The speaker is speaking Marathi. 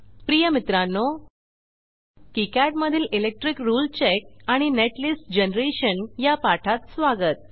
प्रिय मित्रांनो किकाड मधील इलेक्ट्रिक रुळे चेक आणि नेटलिस्ट जनरेशन या पाठात स्वागत